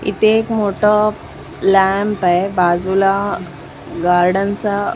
इथे एक मोठं लॅम्प आहे बाजूला गार्डन चं --